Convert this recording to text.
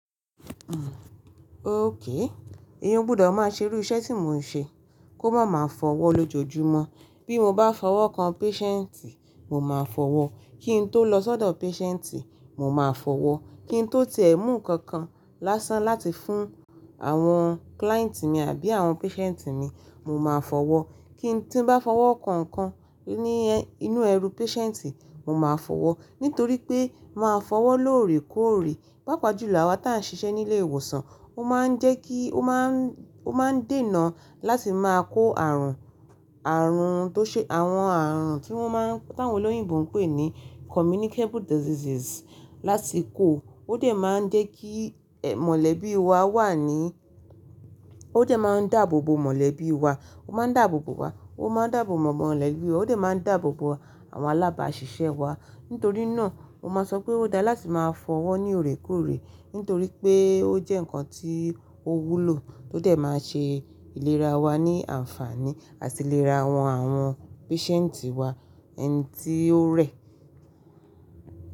Okay. Èèyàn o gbùdo maà ṣe irú iṣẹ́ tí mo ń ṣe. Kò má máa fọ owọ́ lójoojúmọ́. Bí mo bá fọwọ́ kan patient, mo máa fọwọ́. Kín tó lọ sọ́dọ̀ patient, mo máa fọwọ́. Kín tó ti ẹ̀ mú ǹkankan lásán láti fún àwọn client mi àbí àwọn patient mi, mo máa fọwọ́. Kí n ti n bá fọwọ́ kan ǹkan ní inú ẹrú patient, mo máa fọwọ́. Nítorí pé máa fọwọ́ lóòrèkóòrè pàápàá jùlo awa tán ṣiṣẹ́ ní ilé ìwòsàn, ó máa ń jẹ́ kí ó máa ń dènà láti máa kó ààrùn, ààrùn tó ṣe, àwọn ààrùn tí wọ́n máa n tawón ọ́yìnbò ń pè ní communicable diseases láti kó. Ó dè máa ń jé kí mọ̀lẹ́bí wa wà ní, ó dè máa ń dáàbòbò mọ̀lẹ́bí wa. Ó máa ń dáàbòbò wa. Ó máa ń dáàbòbò mọ̀lẹ́bí wa. Ó dè máa ń dáàbòbò àwọn alábàáṣiṣẹ́ wa. Nítorí náà mo máa sọ pé ó dáa láti máa fọwọ́ ní òorèkóòrè. Nítorí pé ó jẹ́ ǹkan tí o wúlò tó dè máa ṣe ìlera wa ní àǹfààní àti ìlera wọn, àwọn patient wa ẹni tí ó rẹ̀.